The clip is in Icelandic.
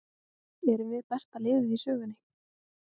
Erum við besta liðið í sögunni?